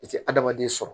I ti adamaden sɔrɔ